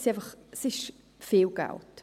Es ist einfach viel Geld.